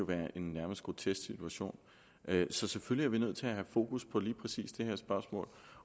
være en grotesk situation så selvfølgelig er vi nødt til at have fokus på lige præcis det her spørgsmål